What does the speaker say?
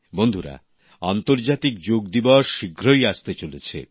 বন্ধুরা আন্তর্জাতিক যোগ দিবস শীঘ্রই আসতে চলেছে